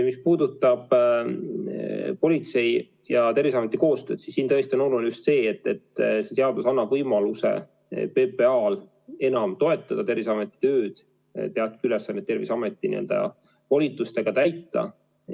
Mis puudutab politsei ja Terviseameti koostööd, siis siin tõesti on oluline just see, et seadus annab PPA-le võimaluse enam toetada Terviseameti tööd, teatud ülesandeid Terviseameti n-ö volitustega täita.